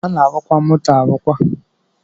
A na-arụkwa moto arụkwa